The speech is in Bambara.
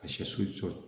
A si su cɔ